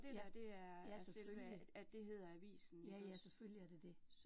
Ja, ja, selvfølgelig. Ja ja, selvfølgelig er det det